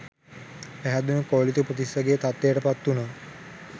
පැහැදුණූ කෝලිත උපතිස්සගේ තත්වයට පත්වුනා.